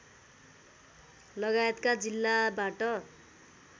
लगायतका जिल्लाबाट